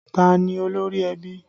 Ta ni olórí ẹbí?